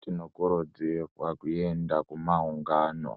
Tinokurudzirwa kuenda kumaungano ,